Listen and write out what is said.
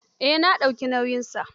Eh na dauki nauyinsa.